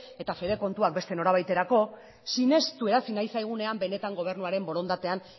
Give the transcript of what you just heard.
eta fede kontuak beste norabaiterako sinestu erazi nahi zaigunean benetan gobernuaren borondatean